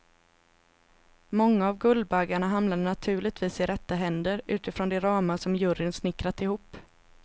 Många av guldbaggarna hamnade naturligtvis i rätta händer utifrån de ramar som juryn snickrat ihop.